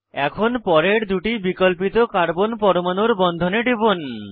এখন পরের দুটি বিকল্পিত কার্বন পরমাণুর বন্ধনে টিপুন